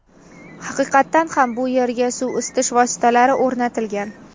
Haqiqatdan ham, bu yerga suv isitish vositalari o‘rnatilgan.